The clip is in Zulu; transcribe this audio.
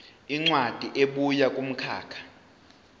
incwadi ebuya kumkhakha